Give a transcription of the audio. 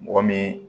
Mɔgɔ min